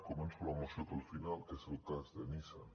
començo la moció pel final que és el cas de nissan